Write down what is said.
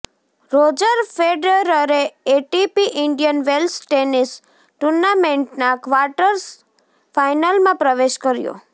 Roger ફેડરરે ATP Indian Wells tennis ટૂર્નામેન્ટના quarter ફાઇનલમાં પ્રવેશ કર્યો